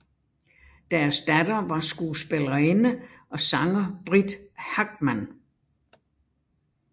Deres datter var skuespillerinde og sanger Britt Hagman